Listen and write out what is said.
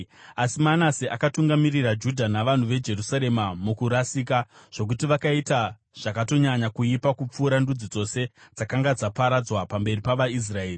Asi Manase akatungamirira Judha navanhu veJerusarema mukurasika, zvokuti vakaita zvakatonyanya kuipa kupfuura ndudzi dzose dzakanga dzaparadzwa pamberi pavaIsraeri.